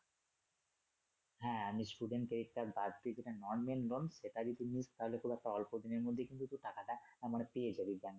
হ্যা আমি student credit card বাদ দিয়ে সেখানে normal loan সেটা যদি তুই নিস তাহলে খুব একটা অল্প দিনের মধ্যেই তুই টাকা টা মানে পেয়ে যাবি।